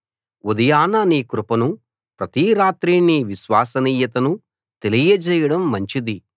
ఉదయాన నీ కృపను ప్రతి రాత్రీ నీ విశ్వసనీయతను తెలియజేయడం మంచిది